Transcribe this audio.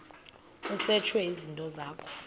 kusetshwe izinto zakho